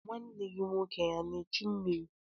Nwa gị nwoke ana echu mmiri?